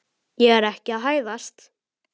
Ég er ekki að hæðast.